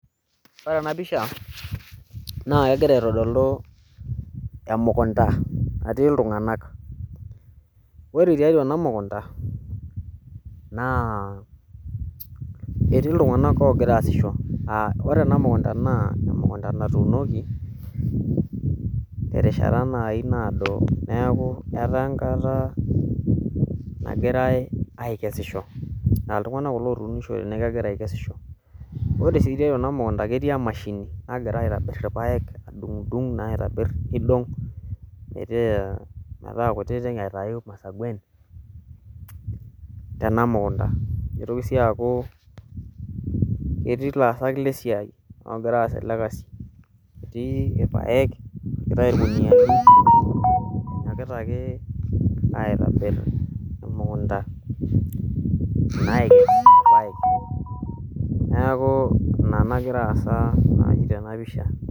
ore ena pisha naa kegira aitodolu emukunda natii iltung'anak ore tiatua ena mukunda naa ketii iltung'anak oogira aasisho aa ore ena mukunda naa emukunda natuunoki terishata naayii naado neeku etaa enkata nagirai aikesisho naa iltung'anak kulo ootishote naa kegira aikesisho ore sii keitayu ena mukunda ketii emashini nagirae aitobir irpayek adung'udung' naa aitobir nidung' metaa kutitik aitayu irmasaguen tena mukunda neitoki sii aaku ketii ilaasak lesiai oogira aas ele kasi etii irpayek epikitay irkuniyiani enyokita ake aitobir emukunda naa akes irpayek neeku ina nagira aasa nayii tena ppisha.